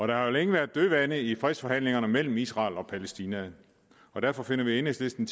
der har jo længe været dødvande i fredsforhandlingerne mellem israel og palæstina og derfor finder vi i enhedslisten